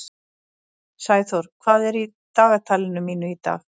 Sæþór, hvað er í dagatalinu mínu í dag?